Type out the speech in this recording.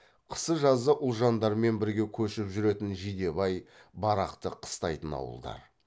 қысы жазы ұлжандармен бірге көшіп жүретін жидебай барақты қыстайтын ауылдар